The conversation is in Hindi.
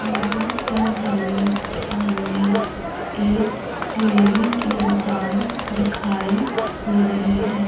यहां पर हमें सामने एक डेयरी की दुकान दिखाई दे रही है।